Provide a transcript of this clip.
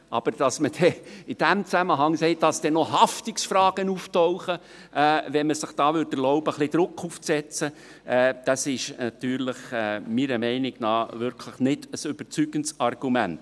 Aber dass man in diesem Zusammenhang sagt, dass zudem Haftungsfragen auftauchen würden, wenn man sich erlauben würde, hier ein wenig Druck aufzusetzen, ist meiner Meinung nach wirklich kein überzeugendes Argument.